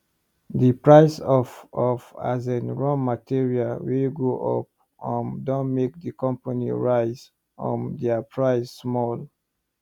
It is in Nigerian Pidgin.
the price of of asin raw material wey go up um don make the company raise um dia price small